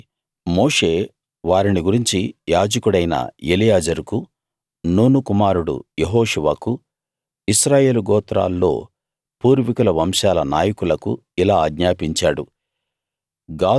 కాబట్టి మోషే వారిని గురించి యాజకుడైన ఎలియాజరుకు నూను కుమారుడు యెహోషువకు ఇశ్రాయేలు గోత్రాల్లో పూర్వీకుల వంశాల నాయకులకు ఇలా ఆజ్ఞాపించాడు